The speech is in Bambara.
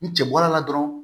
Ni cɛ bɔra la dɔrɔn